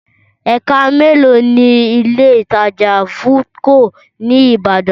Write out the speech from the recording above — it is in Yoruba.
Ẹ̀ka mélòó ni Ilé-ìtajà Foodco ní ní Ìbàdàn?